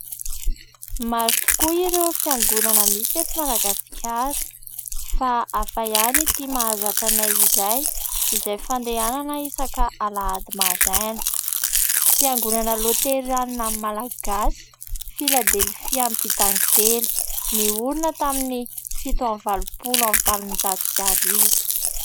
Maro tokoa ireo fiangonana misy eto Madagasikara fa hafa ihany ity mahazatra anay iray izay fandehanana isaka alahady maraina. Fiangonana Loterana Malagasy Filadelifia Ampitakely niorina tamin'ny fito amby valopolo amby valonjato sy arivo.